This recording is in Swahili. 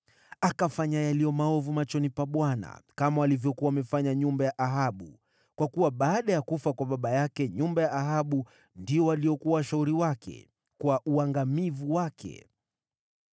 Akafanya yaliyo maovu machoni pa Bwana kama walivyokuwa wamefanya nyumba ya Ahabu, kwa kuwa baada ya kufa kwa baba yake nyumba ya Ahabu ndio waliokuwa washauri wake, kwa uangamivu wake.